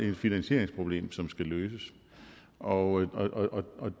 et finansieringsproblem som skal løses og